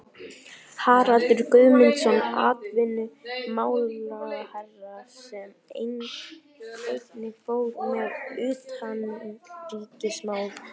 Haraldur Guðmundsson atvinnumálaráðherra, sem einnig fór með utanríkismál.